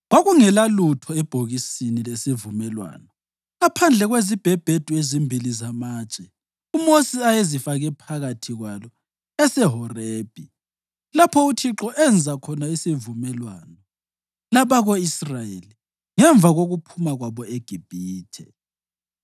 Kwakungelalutho ebhokisini lesivumelwano ngaphandle kwezibhebhedu ezimbili zamatshe uMosi ayezifake phakathi kwalo eseHorebhi lapho uThixo enza khona isivumelwano labako-Israyeli ngemva kokuphuma kwabo eGibhithe.